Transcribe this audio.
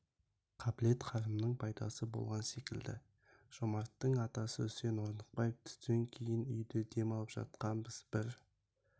қабілет-қарымның пайдасы болған секілді жомарттың атасы үсен орнықбаев түстен кейін үйде дем алып жатқанбыз бір